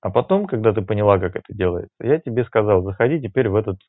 а потом когда ты поняла как это делается я тебе сказал заходи теперь в этот